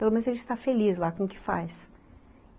Pelo menos a gente está feliz lá com o que faz.